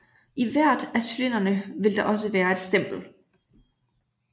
I hvert af cylinderne vil der også være et stempel